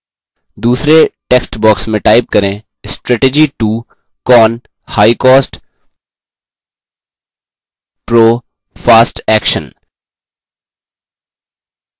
दूसरे text box में type करें : strategy 2 con: high cost pro: fast action